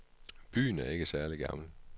Byen er ikke særligt gammel.